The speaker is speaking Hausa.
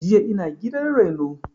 Jiya ina gidan reno